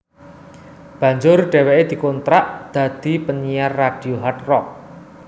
Banjur dheweke dikontrak dadi penyiar radio Hard Rock